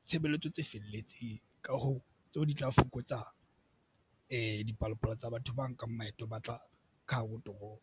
ditshebeletso tse felletseng. Ka hoo tseo di tla fokotsa dipalopalo tsa batho ba nkang maeto a batla ka hare ho toropo.